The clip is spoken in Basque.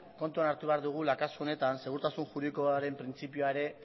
kontuan hartu behar dugula kasu honetan segurtasun juridikoaren printzipioa ere